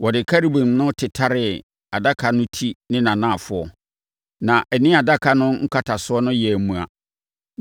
Wɔde Kerubim no tetare adaka no ti ne nʼanafoɔ, na ɛne adaka no nkatasoɔ no yɛɛ mua.